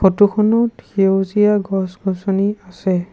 ফটোখনত সেউজীয়া গছ গছনি আছে।